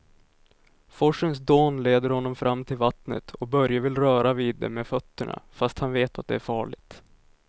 Forsens dån leder honom fram till vattnet och Börje vill röra vid det med fötterna, fast han vet att det är farligt.